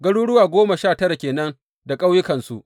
Garuruwa goma sha tara ke nan da ƙauyukansu.